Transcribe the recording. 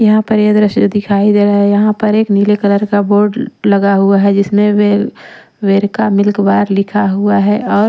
यहाँ पर ये दृश्य दिखाई दे रहा है यहाँ पर एक नीले कलर का बोर्ड लगा हुआ है जिसमें वेल वेर का मिल्क बार लिखा हुआ है और--